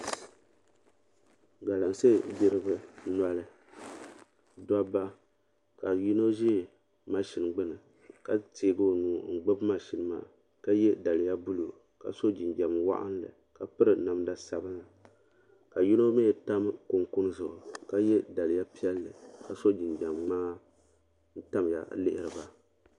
Galamse gbiriba noli dobba ka yino ʒɛ maʒini gbini ka teegi o nuu n gbibi maʒini maa ka ye daliya buluu ka so jinjiɛm waɣinli ka piri namda sabinli ka yino mee tam kunkuni zuɣu ka ye daliya piɛli ka so jinjiɛm ŋmaa ka tamya n lihiri ba.